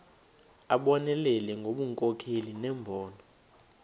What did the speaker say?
abonelele ngobunkokheli nembono